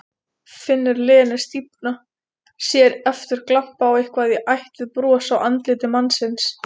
Finnur Lenu stífna, sér aftur glampa á eitthvað í ætt við bros á andliti mannsins.